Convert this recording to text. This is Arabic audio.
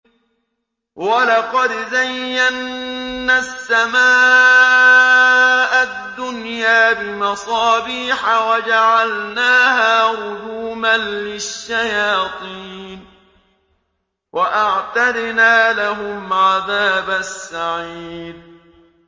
وَلَقَدْ زَيَّنَّا السَّمَاءَ الدُّنْيَا بِمَصَابِيحَ وَجَعَلْنَاهَا رُجُومًا لِّلشَّيَاطِينِ ۖ وَأَعْتَدْنَا لَهُمْ عَذَابَ السَّعِيرِ